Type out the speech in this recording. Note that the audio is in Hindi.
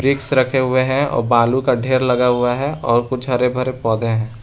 विक्स रखे हुए हैं और बालू का ढेर लगा हुआ है और कुछ हरे भरे पौधे हैं।